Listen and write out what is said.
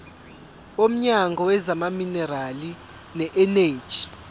womnyango wezamaminerali neeneji